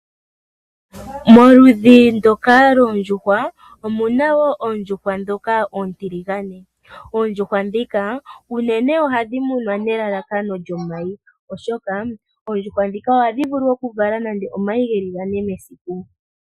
Momaludhi ngoka goondjuhwa, omuna wo oondjuhwa dhoka oontiligane. Oondjuhwa dhika unene ohadhi munwa nelalakano lyomayi oshoka, oondjuhwa dhika ohadhi vulu okuvala nando omayi geli gane mesiku.